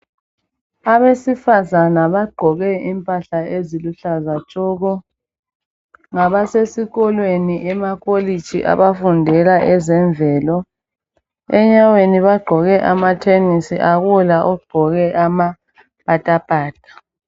Abesifazana bagqoke impahla eziluhlaza tshoko. Ngabasesi kolweni emakolitshi abafundela ezemvelo. Enyaweni bagqoke amathenisi, akula ogqoke amapatapata.